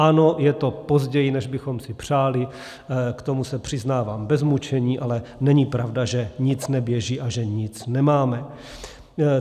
Ano, je to později, než bychom si přáli, k tomu se přiznávám bez mučení, ale není pravda, že nic neběží a že nic nemáme.